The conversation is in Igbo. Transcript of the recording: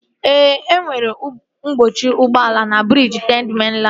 Ee, enwere mkpọchi ụgbọala na briji Third Mainland